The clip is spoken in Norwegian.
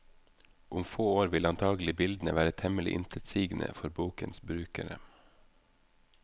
Om få år vil antagelig bildene være temmelig intetsigende for bokens brukere.